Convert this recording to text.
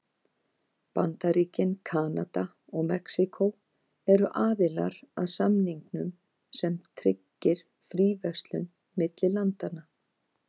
Bandaríkin, Kanada og Mexíkó eru aðilar að samningnum sem tryggir fríverslun milli landanna.